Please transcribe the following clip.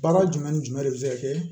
Baara jumɛn ni jumɛn de bi se ka kɛ